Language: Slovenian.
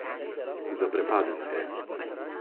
Zaprepadena je.